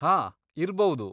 ಹಾ, ಇರ್ಬೌದು.